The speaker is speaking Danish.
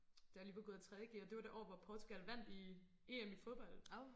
Da jeg lige var gået ud af tredje g og det var det år hvor Portugal vandt i EM i fodbold